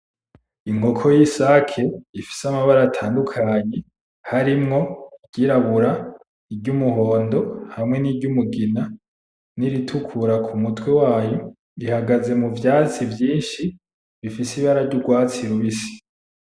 Inkoko y’isaki ifise amabara atandukanye harimwo iryirabura ,Iry’umuhondo hamwe ni ry’umugina n’iritukura ku mutwe wayo ihagaze mu vyatsi vyishi bifise ibara ry’urwatsi rubisi.